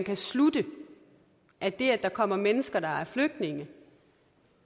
kan slutte at det at der kommer mennesker der er flygtninge